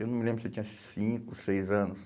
Eu não me lembro se eu tinha cinco, seis anos.